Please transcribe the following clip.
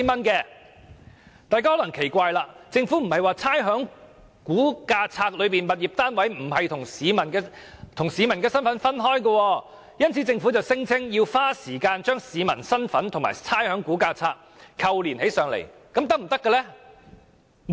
大家可能會奇怪，政府不是說在差餉估價冊中，物業單位與市民的身份是分開的，所以要花時間把市民身份與差餉估價冊扣連起來嗎？